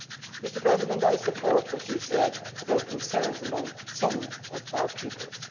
Mr President, I support what you said about concerns among some of our peoples.